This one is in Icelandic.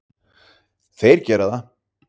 Þeir gera það.